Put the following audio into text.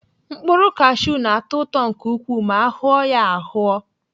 Mkpụrụ kashiu na-atọ ụtọ nke ukwuu ma ahụọ ya ahụọ.